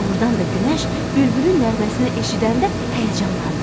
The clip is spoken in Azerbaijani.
Doğrudan da günəş bülbülün nəğməsini eşidəndə həyəcanlandı.